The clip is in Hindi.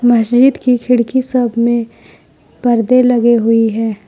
मस्जिद की खिड़की सब में परदे लगे हुए है।